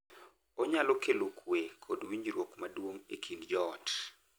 Onyalo kelo kuwe kod winjruok maduong’ e kind joot.